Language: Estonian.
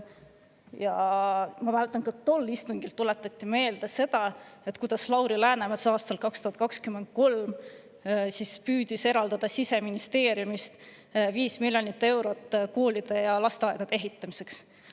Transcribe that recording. Ma mäletan, et ka tol istungil tuletati meelde, kuidas Lauri Läänemets püüdis 2023. aastal eraldada Siseministeeriumist 5 miljonit eurot koolide ja lasteaedade ehitamiseks.